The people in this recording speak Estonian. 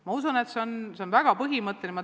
Ma usun, et see on väga põhimõtteline asi.